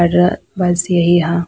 और बस यही हां।